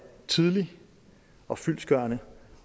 tidlig og fyldestgørende